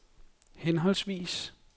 henholdsvis